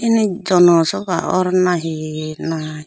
se nit jonosoba or na he na.